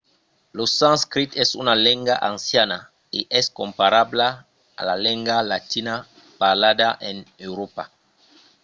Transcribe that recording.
lo sanscrit es una lenga anciana e es comparabla a la lenga latina parlada en euròpa